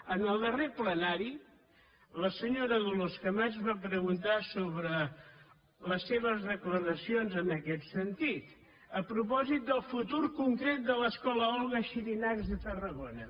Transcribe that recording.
en el darrer plenari la senyora dolors camats va preguntar sobre les seves declaracions en aquest sentit a propòsit del futur concret de l’escola olga xirinacs de tarragona